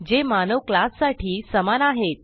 जे मानव क्लास साठी समान आहेत